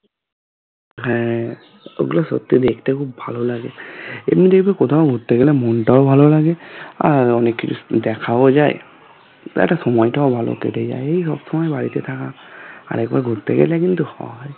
হ্যাঁ ঐগুলো সত্যি দেখতে খুব ভালো লাগে এবং দেখবে কোথাও ঘুরতে গেলে মনটাও ভালো লাগে আর অনেক কিছু দেখাও যায় বা একটা সময়টাও ভালো কেটে যায় এই সবসময় বাড়িতে থাকা আর একবার ঘুরতে গেলে কিন্তু হয়